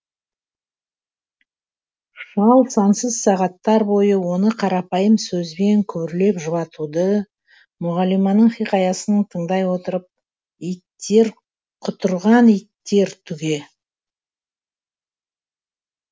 шал сансыз сағаттар бойы оны қарапайым сөзбен күбірлеп жұбатуды мұғалиманың хикаясын тыңдай отырып иттер құтырған иттер түге